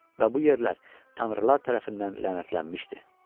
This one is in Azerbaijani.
Və bu yerlər tanrılar tərəfindən lənətlənmişdi.